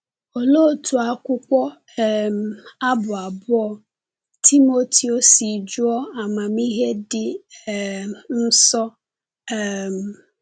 Olee otú akwụkwọ um Abụ abụọ Timoteo si juo amamihe dị um nsọ! um